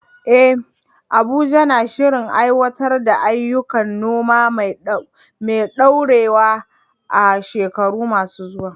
Eh, Abuja na shirin aiwatar da ayyukan noma mai ɗorewa a shekaru masu zuwa.